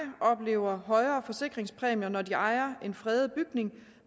oplever højere forsikringspræmier når de ejer en fredet bygning